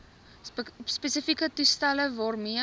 spesiale toestelle waarmee